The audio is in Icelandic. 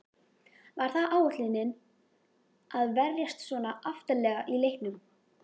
Var það áætlunin að verjast svona aftarlega í leiknum?